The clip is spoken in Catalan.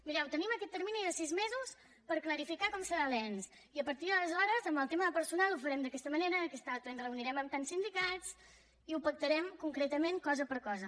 mireu tenim aquest termini de sis mesos per clarificar com serà l’ens i a partir d’aleshores en el tema de personal ho farem d’aquesta manera i d’aquesta altra i ens reunirem amb tants sindicats i ho pactarem concretament cosa per cosa